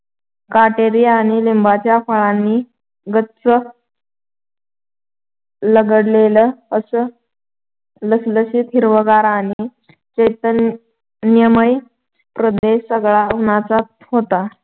काटेरी आणि लिंबाच्या फळांनी गच् लगडलेलं असं लसलशीत हिरवंगार आणि चैतन्यमय प्रदेश सगळा उन्हाचा होता.